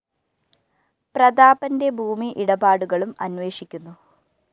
പ്രതാപന്റെ ഭൂമി ഇടപാടുകളും അന്വേഷിക്കുന്നു